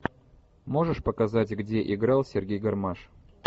можешь показать где играл сергей гармаш